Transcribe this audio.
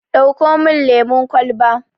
Dauko mun lemun kwalba